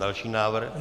Další návrh.